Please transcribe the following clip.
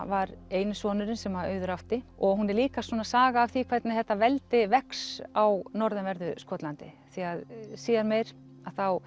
var eini sonurinn sem Auður átti og hún er líka svona saga af því hvernig þetta veldi vex á norðanverðu Skotlandi því að síðar meir að þá